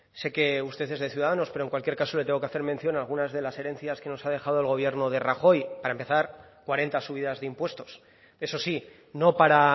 sé que usted es de ciudadanos pero en cualquier caso le tengo que hacer mención a alguna de las herencias que nos ha dejado el gobierno de rajoy para empezar cuarenta subidas de impuestos eso sí no para